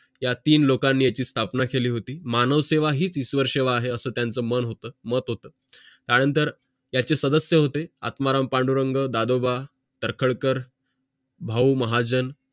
या तीन लोकांना याची स्थापना केली होती मानवसेवा हीच ईश्वर सेवा आहे असं त्यांचं मन होतं मत होतं त्यानंतर त्याचे सदस्य होते आत्माराम पांडुरंग दादोबा तर्खडकर भाऊ महाजन